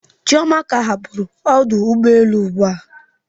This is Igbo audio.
Chioma ka hapụrụ ọdụ ụgbọ elu ụgbụa.